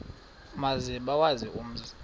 maze bawazi umzi